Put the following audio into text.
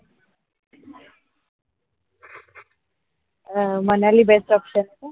अं मनाली जायचं option ए का?